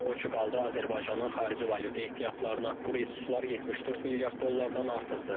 O ki qaldı Azərbaycanın xarici valyuta ehtiyatlarına, bu resurslar 74 milyard dollardan artıqdır.